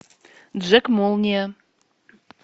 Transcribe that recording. джек молния